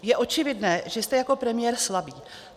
Je očividné, že jste jako premiér slabý.